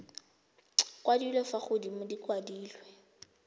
kwadilwe fa godimo di kwadilwe